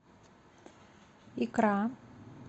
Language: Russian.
икра